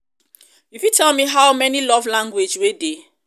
you fit tell me how um many love language wey dey?